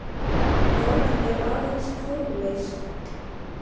Það er aðeins formleysa.